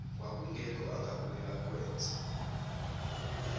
kwakungekho angabuye akwenze